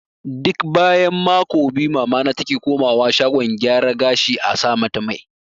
Duk bayan mako biyu mamana take komawa shagon gyara gashi a sa mata mai